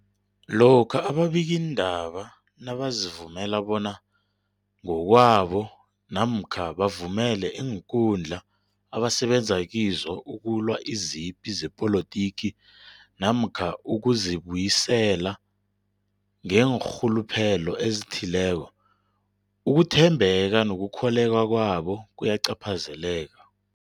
Lokhuya ababikiindaba nabazivumela bona ngokwabo namkha bavumele iinkundla abasebenza kizo ukulwa izipi zepolitiki namkha ukuzi buyiselela ngeenrhuluphelo ezithileko, ukuthembeka nokukholweka kwabo kuyacaphazeleka.